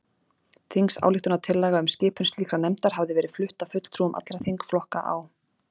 Þingsályktunartillaga um skipun slíkrar nefndar hafði verið flutt af fulltrúum allra þingflokka á